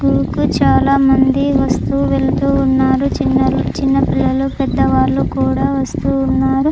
చాలామంది వస్తూ వెళ్తూ ఉన్నారు చిన్నపిల్లలు పెద్దవాళ్లు కూడా వస్తూ ఉన్నారు--